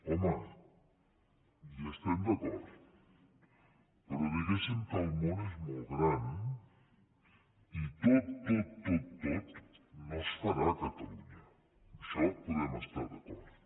home hi estem d’acord però diguéssim que el món és molt gran i tot tot tot no es farà a catalunya en això podem estar d’acord